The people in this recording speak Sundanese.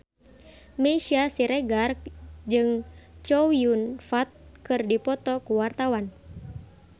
Meisya Siregar jeung Chow Yun Fat keur dipoto ku wartawan